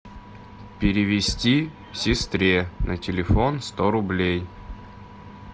перевести сестре на телефон сто рублей